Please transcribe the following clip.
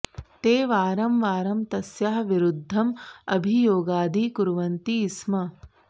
ते वारं वारं तस्याः विरुद्धम् अभियोगादि कुर्वन्ति स्म